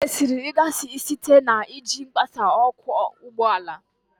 M mesiri ịghasa ike site na iji ịghasa ọkwọ ụgbọala